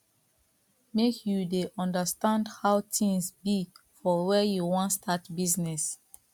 make you dey understand how tins be for where you wan start business